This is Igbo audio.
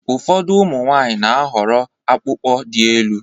Ụfọdụ ụmụ nwanyị n'ahọrọ akpụkpọ dị élú